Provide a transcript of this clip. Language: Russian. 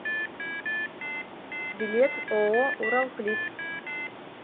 билет ооо уралплит